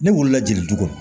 Ne wolo la jeli du kɔnɔ